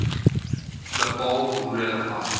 bepaal hoe relevant